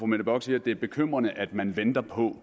mette bock siger at det er bekymrende at man venter på